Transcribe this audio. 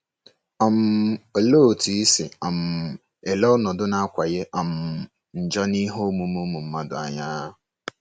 um Olee otú i si um ele ọnọdụ na-akawanye um njọ n'ihe omume ụmụ mmadụ anya?